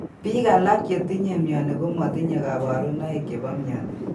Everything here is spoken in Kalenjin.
Biik alak chetinye myoni komotinye kabarunoik chebo myoni